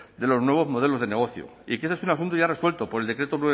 de los nuevos modelos de negocio y que ese es un asunto ya resuelto por el decreto